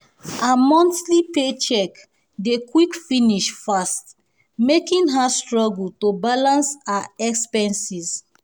her monthly paycheck dey quick finish fast making her struggle to balance her expenses.